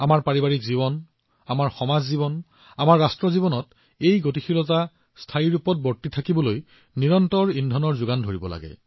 পাৰিবাৰিক জীৱন সামাজিক জীৱন ৰাষ্ট্ৰ জীৱনত শক্তিৰে ভৰপূৰ হবলৈ ইয়াক নিৰন্তৰ নতুন শক্তিৰে ভৰাবলৈ এই গতি স্থায়ী কৰিব লাগিব